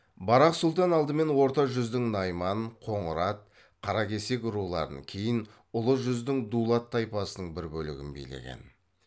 барақ сұлтан алдымен орта жүздің найман қоңырат қаракесек руларын кейін ұлы жүздің дулат тайпасының бір бөлігін билеген